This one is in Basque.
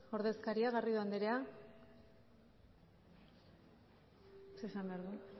ordezkaria garrido andrea zer esan behar du